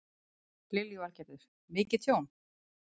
Lillý Valgerður: Mikið tjón?